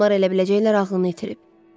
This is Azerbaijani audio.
Adamlar elə biləcəklər ağlını itirib.